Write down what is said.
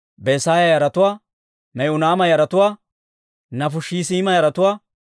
Besaaya yaratuwaa, Me'uniima yaratuwaa, Nafushesiima yaratuwaa,